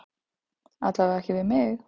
Alla vega ekki við mig.